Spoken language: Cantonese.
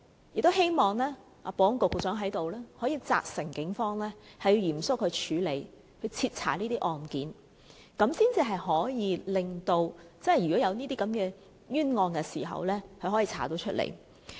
我也希望保安局局長在此責成警方嚴肅處理和徹查這些案件，如果真有這些冤案時，可以調查出來。